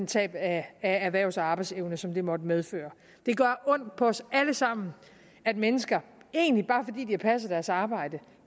tab af erhvervs og arbejdsevne som det måtte medføre det gør ondt på os alle sammen at mennesker egentlig bare fordi de har passet deres arbejde